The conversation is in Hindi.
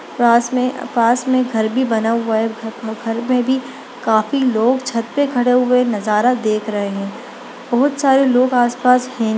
पास मे पास मे घर भी बना हुआ है। घ घ घर में भी काफी लोग छत पे खड़े हुए नजारा देख रहे है बहुत सारा लोग आस-पास है।